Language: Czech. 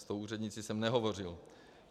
S tou úřednicí jsem nehovořil.